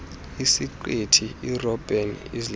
isiqithi irobben island